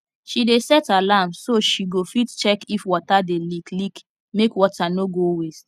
she dey set alarm so she go fit check if water dey leak leak make water no go waste